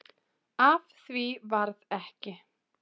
Af því varð ekki